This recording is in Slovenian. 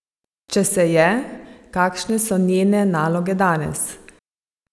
Če se je, kakšno so njene naloge danes?